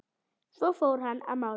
Svo fór hann að mála.